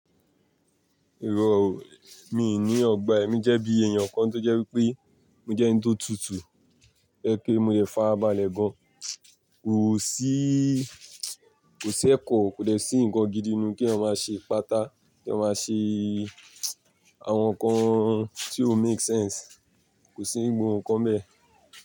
Irọ́ o, mi ò ní ọ̀gbà ẹ̀ mi jẹ́ bí èèyàn kan tó jẹ́ wípé mi jẹ́ ẹni tó tutù, tó jẹ́ pé mo lè farabalẹ̀ gan. Kò sí, kò sí ẹ̀kọ́, kò dẹ̀ sí nǹkan gidi nu kí èèyàn máa ṣe ipáta, kí èèyàn máa ṣe àwọn nǹkan tí ò make sense, kò sí nǹkan bẹ́ẹ̀.